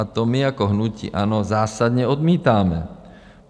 A to my jako hnutí ANO zásadně odmítáme.